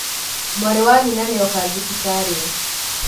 mwarĩ wa nyina nĩoka thibitarĩ